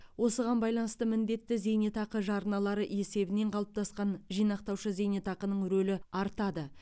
осыған байланысты міндетті зейнетақы жарналары есебінен қалыптасқан жинақтаушы зейнетақының рөлі артады